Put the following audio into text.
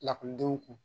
Lakɔlidenw kun